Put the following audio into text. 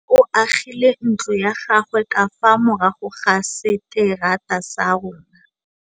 Nkgonne o agile ntlo ya gagwe ka fa morago ga seterata sa rona.